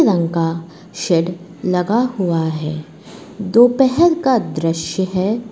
Shade लगा हुआ है दोपहर का दृश्य है।